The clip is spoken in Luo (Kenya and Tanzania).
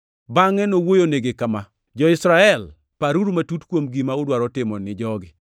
Bangʼe nowuoyonigi kama: “Jo-Israel, paruru matut kuom gima udwaro timo ni jogi.